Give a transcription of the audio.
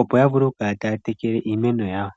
opo ya vule okukala taya tekele iimeno yawo.